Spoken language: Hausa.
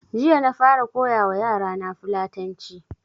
Jiya na fara koya wa yara na fulatanci